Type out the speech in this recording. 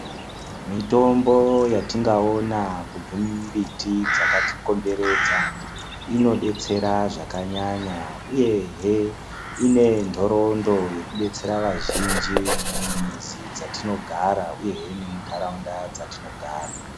Mitombo yatingaona kubve mumbiti dzakatikomberedza inodetsera zvakanyanya uyehe inenhorondo yekudetsera vazhinji mumizi dzatinogara uyehe nemunharaunda dzatinogara .